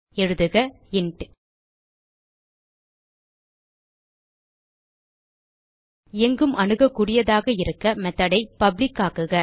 எழுதுக இன்ட் எங்கும் அணுகக்கூடியதாக இருக்க மெத்தோட் ஐ பப்ளிக் ஆக்குக